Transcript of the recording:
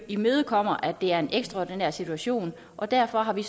imødekommer at det er en ekstraordinær situation og derfor har vi